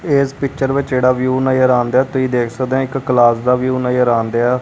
ਏਸ ਪਿੱਚਰ ਵਿੱਚ ਜਿਹੜਾ ਵਿਊ ਨਜ਼ਰ ਆਣਦਿਐ ਤੁਸੀ ਦੇਖ ਸਕਦੇ ਆਂ ਇੱਕ ਕਲਾਸ ਦਾ ਵਿਊ ਨਜ਼ਰ ਆਣਦਿਐ।